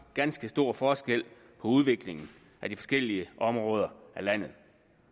ganske stor forskel på udviklingen af de forskellige områder af landet